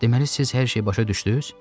Deməli siz hər şeyi başa düşdünüz?